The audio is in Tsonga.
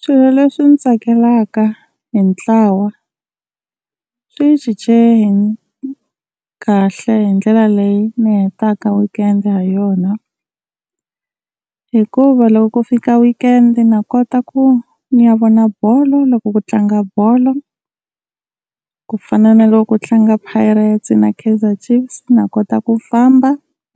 Swilo leswi ndzi tsakelaka hi ntlawa swi cince kahle hi ndlela leyi ni hetaka weekend ha yona, hikuva loko ku fika weekend na kota ku ni ya vona bolo loko ku tlanga bolo, ku fana na loko ku tlanga Pirate's na Kaizer Chiefs na kota ku famba